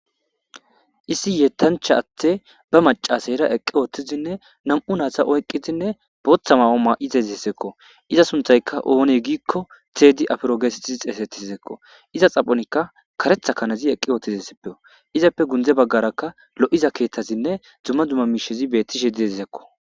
Issi yettanchcha addey ba machcheyira eqqi uttidinne nami'u nayta oyqqidinne booththa ma'o mayidesiko. Iza sunththay oone giikko Teedi Afuro geetettidi xeeysetizaysakko. Iza xaphonikka kareththa kanazi eqqi uttidesiko. Izappe gunde baggarakka lo'iza keeththezinna dumma dumma miishshizi beettishe dizayssakko.